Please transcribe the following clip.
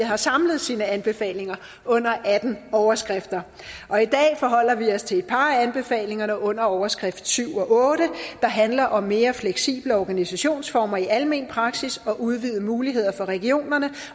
har samlet sine anbefalinger under atten overskrifter og i dag forholder vi os til et par af anbefalingerne under overskrift syv og otte der handler om mere fleksible organisationsformer i almen praksis og udvidede muligheder for regionerne